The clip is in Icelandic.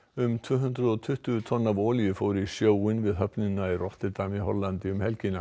um tvö hundruð og tuttugu tonn af olíu fóru í sjóinn við höfnina í Rotterdam í Hollandi um helgina